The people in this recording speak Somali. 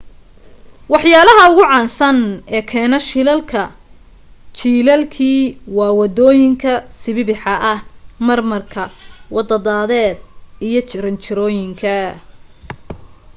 waxyaalaha ugu caansan ee keena shilalka jilaalkii waa waddooyinka sibibixa ah marmarka waddo dadeed iyo jaranjarooyinka